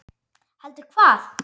Heldur hvað?